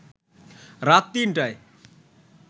রাত ৩টায়